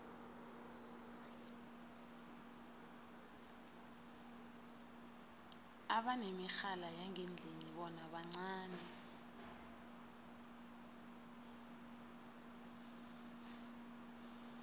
abanemirhala yangendlini bona bancani